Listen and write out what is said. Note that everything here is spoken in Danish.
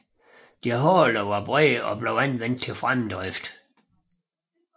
Deres haler var brede og blev anvendt til fremdrift